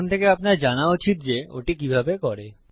এখন থেকে আপনার জানা উচিত যে ওটি কিভাবে করে